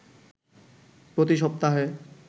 প্রতি সপ্তাহে